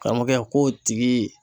Karamɔgɔkɛ k'o tigi